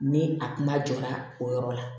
Ni a kuma jɔ la o yɔrɔ la